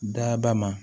Daba ma